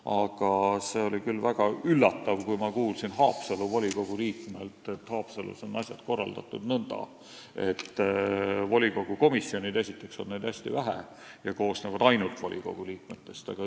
Aga see oli küll väga üllatav, kui ma kuulsin Haapsalu volikogu liikmelt, et Haapsalus on asjad korraldatud nõnda, et volikogu komisjone on esiteks hästi vähe ja teiseks koosnevad need ainult volikogu liikmetest.